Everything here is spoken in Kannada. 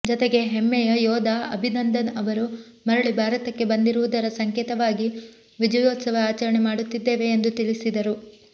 ಜತೆಗೆ ಹೆಮ್ಮೆಯ ಯೋಧ ಅಭಿನಂದನ್ ಅವರು ಮರಳಿ ಭಾರತಕ್ಕೆ ಬಂದಿರುವುದರ ಸಂಕೇತವಾಗಿ ವಿಜಯೋತ್ಸವ ಆಚರಣೆ ಮಾಡುತ್ತಿದ್ದೇವೆ ಎಂದು ತಿಳಿಸಿದರು